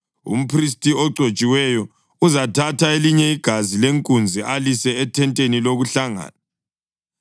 Umphristi ogcotshiweyo uzathatha elinye igazi lenkunzi alise ethenteni lokuhlangana.